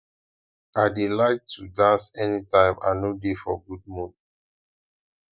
i dey like to dance anytime i no dey for good mood